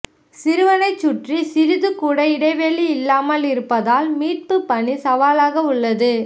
சிறுவனைச் சுற்றி சிறிதுகூட இடைவெளி இல்லாமல் இருப்பதால் மீட்புப் பணி சவாலாக உள்ளது